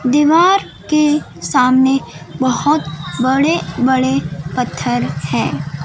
दीवार के सामने बहोत बड़े बड़े पत्थर है।